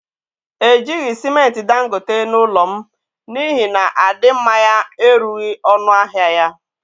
Ejighị sịmentị Dangote n’ụlọ m n’ihi na adịmma ya erughị ọnụ ahịa ya.